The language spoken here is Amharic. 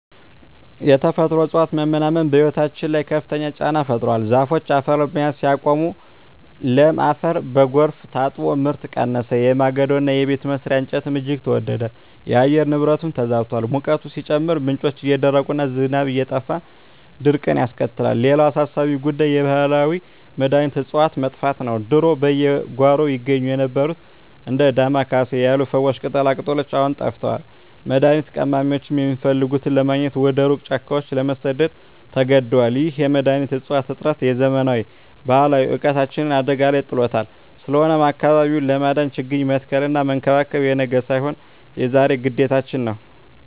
የተፈጥሮ እፅዋት መመናመን በሕይወታችን ላይ ከፍተኛ ጫና ፈጥሯል። ዛፎች አፈርን መያዝ ሲያቆሙ፣ ለም አፈር በጎርፍ ታጥቦ ምርት ቀነሰ፤ የማገዶና የቤት መስሪያ እንጨትም እጅግ ተወደደ። የአየር ንብረቱም ተዛብቷል፤ ሙቀቱ ሲጨምር፣ ምንጮች እየደረቁና ዝናብ እየጠፋ ድርቅን ያስከትላል። ሌላው አሳሳቢ ጉዳይ የባህላዊ መድኃኒት እፅዋት መጥፋት ነው። ድሮ በየጓሮው ይገኙ የነበሩት እንደ ዳማ ኬሴ ያሉ ፈዋሽ ቅጠላቅጠሎች አሁን ጠፍተዋል፤ መድኃኒት ቀማሚዎችም የሚፈልጉትን ለማግኘት ወደ ሩቅ ጫካዎች ለመሰደድ ተገደዋል። ይህ የመድኃኒት እፅዋት እጥረት የዘመናት ባህላዊ እውቀታችንን አደጋ ላይ ጥሎታል። ስለሆነም አካባቢውን ለማዳን ችግኝ መትከልና መንከባከብ የነገ ሳይሆን የዛሬ ግዴታችን ነው።